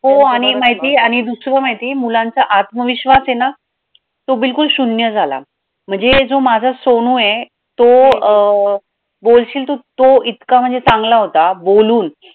हो आणि माहितीये आणि दुसरं माहितीये मुलांचा आत्मविश्वास आहे ना तो बिलकुल शून्य झाला म्हणजे हे जो माझा सोनू आहे तो अं बोलशील तू तो इतका चांगला होता बोलून